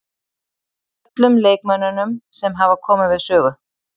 Öllum leikmönnunum sem hafa komið við sögu.